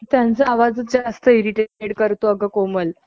त्यांचा आवाजच जास्त इर्रिटेंट करतो आग कोमल .